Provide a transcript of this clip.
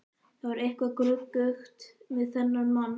Það var eitthvað gruggugt við þennan mann.